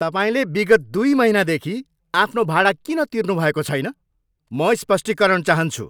तपाईँले विगत दुई महिनादेखि आफ्नो भाडा किन तिर्नुभएको छैन? म स्पष्टीकरण चाहन्छु।